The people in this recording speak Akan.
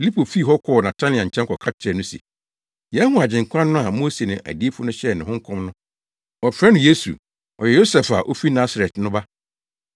Filipo fii hɔ kɔɔ Natanael nkyɛn kɔka kyerɛɛ no se, “Yɛahu Agyenkwa no a Mose ne adiyifo no hyɛɛ ne ho nkɔm no. Wɔfrɛ no Yesu. Ɔyɛ Yosef a ofi Nasaret no ba.”